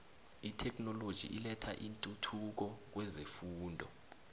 itheknoloji ilethe intuthuko kwezefundo